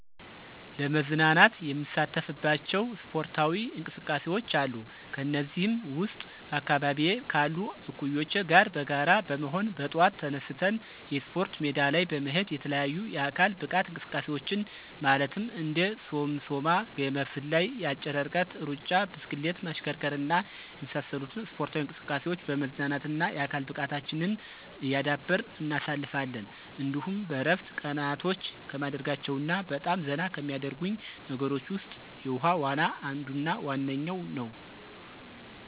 ለመዝናናት የምሳተፍባቸው ስፖርታዊ እንቅስቃሴዎች አሉ። ከነዚህም ውስጥ በአካባቢየ ካሉ እኩዮቸ ጋር በጋራ በመሆን በጠዋት ተነስተን የስፖርት ሜዳ ላይ በመሄድ የተለያዩ የአካል ብቃት እንቅስቃሴዎችን ማለትም እንደ ሶምሶማ፣ ገመድ ዝላይ፣ የአጭር ርቀት ሩጫ፣ ብስክሌት ማሽከርከር እና የመሳሰሉትን ስፖርታዊ እንቅስቃሴዎች በመዝናናትና የአካል ብቃታችንን እያዳበርን እናሳልፋለን። እንዲሁም በእረፍት ቀናቶቸ ከማደርጋቸው እና በጣም ዘና ከሚያደርጉኝ ነገሮች ውስጥ የውሀ ዋና አንዱና ዋነኛው ነዉ።